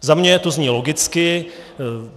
Za mě to zní logicky.